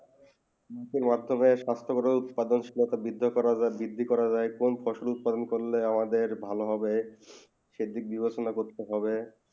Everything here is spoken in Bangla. মানে হচ্ছেই স্বাস্থ ভাবে বীজ উৎপাদন করা বিধ দিয়ে করা বিধি করা কোন ফসল উৎপাদন করলে আমাদের ভালো হয়ে সে দিক দিবে শুনে করতে হবে